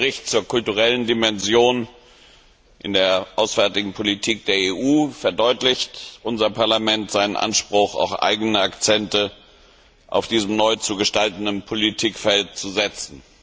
Mit dem Bericht zur kulturellen Dimension in der auswärtigen Politik der EU verdeutlicht unser Parlament seinen Anspruch, auch eigene Akzente in diesem neu zu gestaltenden Politikfeld zu setzen.